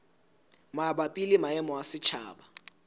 mabapi le maemo a setjhaba